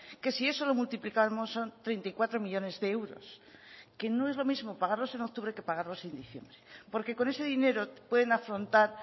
que si eso lo multiplicamos son treinta y cuatro millónes de euros que no es lo mismo pagarlos en octubre que pagarlos en diciembre porque con ese dinero pueden afrontar